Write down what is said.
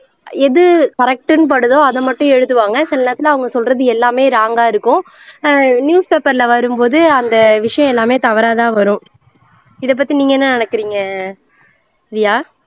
எது correct ன்னு படுதோ அதை மட்டும் எழுதுவாங்க சில நேரத்துல அவுங்க சொல்றது எல்லாமே wrong ஆ இருக்கும் ஆஹ் newspaper ல வரும் போது அந்த விஷயம் எல்லாமே தவறாதா வரும் இதை பத்தி நீங்க என்ன நெனைக்கிறிங்க ரியா